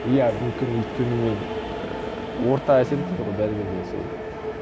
иә мүмкін өйткені мен ііі орта әсер етеді ғой бәрібір де сол